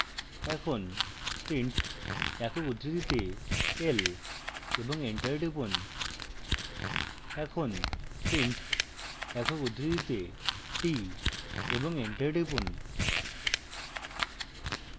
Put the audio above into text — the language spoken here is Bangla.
এখন print একক বন্ধনীতে l এবং enter টিপুন